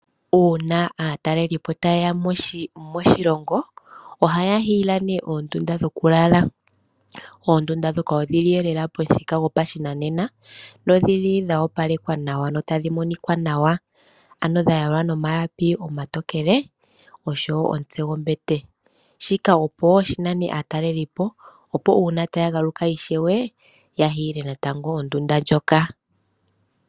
Uuna aatalelipo ta yeya moshilongo, ohaya ningi eyindilo lyoondunda dhoku lala noondunda ndika odhili li lela pamuthika gwopashinanena no dhili dhoopalekwa nawa, no tadhi monika nawa, ano dha yalwa nomalapi omatokele osho woo omutse gwombete shika opo woo shinane aatalelipo, opo uuna taagaluka ishewe yaninge eyindilo lyoondunda ndhika.